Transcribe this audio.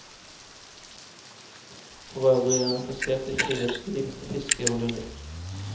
Forøvrig er han interessert i friluftsliv, fiske og lyrikk.